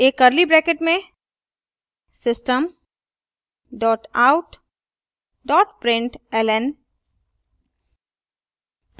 एक curly brackets में system dot out dot println